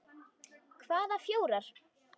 Hvaða fjórar?